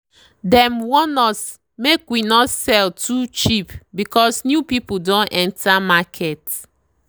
dem warn us make we no sell too cheap because new people don enter market.